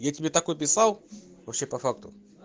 я тебе такой писал вообще по факту